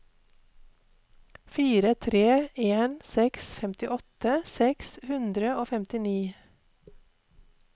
fire tre en seks femtiåtte seks hundre og femtini